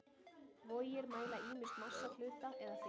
Vogir mæla ýmist massa hluta eða þyngd.